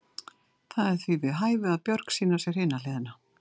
Það er því við hæfi að Björg sýni á sér hina hliðina.